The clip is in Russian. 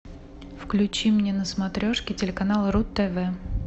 включи мне на смотрешке телеканал ру тв